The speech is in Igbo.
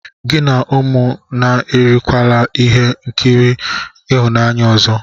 Gị na ụmụ m ekirikwala ihe nkiri ịhụnanya ọzọ!